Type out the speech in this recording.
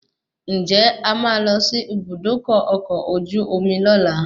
Ǹjẹ́ a máa lọ sí Ibùdókọ̀ ọkọ̀ ojú omi lola?